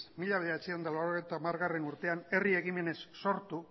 mila bederatziehun eta laurogeita hamargarrena urtean herri ekimenez sortu